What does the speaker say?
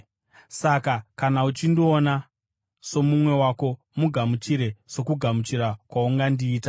Saka kana uchindiona somumwe wako, mugamuchire sokugamuchira kwaungandiita.